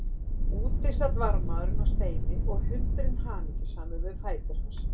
Úti sat varðmaðurinn á steini og hundurinn hamingjusamur við fætur hans.